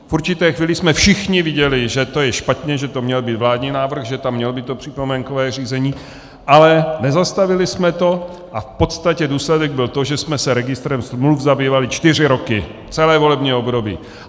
V určité chvíli jsme všichni viděli, že to je špatně, že to měl být vládní návrh, že tam mělo být to připomínkové řízení, ale nezastavili jsme to, a v podstatě důsledek byl ten, že jsme se registrem smluv zabývali čtyři roky, celé volební období.